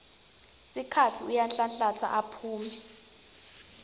sikhatsi uyanhlanhlatsa aphume